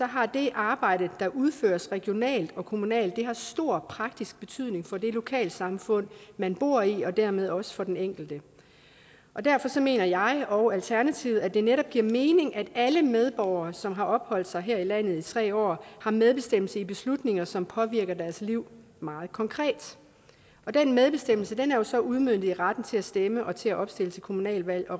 har det arbejde der udføres regionalt og kommunalt stor praktisk betydning for det lokalsamfund man bor i og dermed også for den enkelte derfor mener jeg og alternativet at det netop giver mening at alle medborgere som har opholdt sig her i landet i tre år har medbestemmelse i beslutninger som påvirker deres liv meget konkret den medbestemmelse er jo så udmøntet i retten til at stemme og til at opstille til kommunalvalg